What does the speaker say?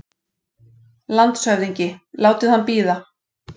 LANDSHÖFÐINGI: Látið hann bíða!